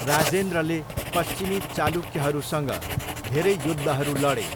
राजेन्द्रले पश्चिमी चालुक्यहरूसँग धेरै युद्धहरू लडे।